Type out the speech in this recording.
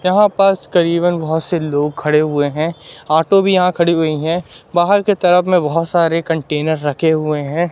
यहां पास करीबन बहोत से लोग खड़े हुए है ऑटो भी यहां खड़ी हुई हैं बाहर के तरफ में बहोत सारे कंटेनर रखे हुए हैं।